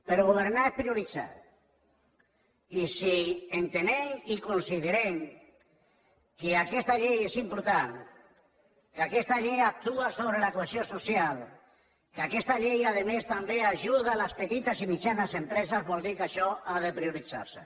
però governar és prioritzar i si entenem i considerem que aquesta llei és important que aquesta llei actua sobre la cohesió social que aquesta llei a més també ajuda les petites i mitjanes empreses vol dir que això ha de prioritzar se